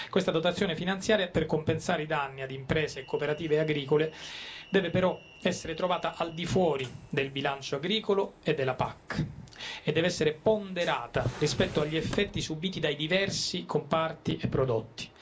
Questa dotazione finanziaria per compensare i danni a imprese e cooperative agricole deve però essere trovata al di fuori del bilancio agricolo e della PAC e deve essere ponderata rispetto agli effetti subiti dai diversi comparti e prodotti.